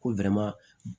Ko